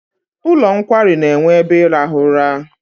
Ụlọ nkwari na-enwe ebe ịrahụ ụra.